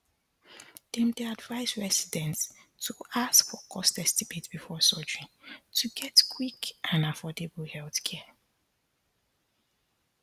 dem dey advise residents to ask for cost estimate before surgery to get quick and affordable healthcare